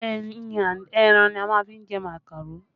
Ẹyin and ẹran ní a máa fi jẹ màkàró